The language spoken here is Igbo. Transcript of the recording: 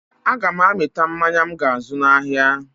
Aga m amịta mmanya m ga-azụ n'ahịa